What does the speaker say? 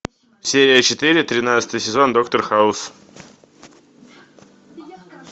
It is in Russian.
серия четыре тринадцатый сезон доктор хаус